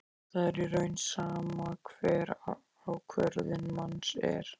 Það er í raun sama hver ákvörðun manns er.